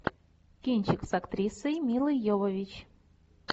кинчик с актрисой милой йовович